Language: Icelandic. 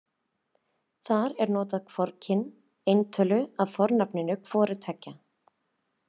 Þar er notað hvorugkyn eintölu af fornafninu hvor tveggja.